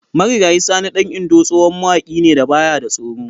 Marigayi Sani dan Indo tsohon mawaƙi ne da baya da tsoro.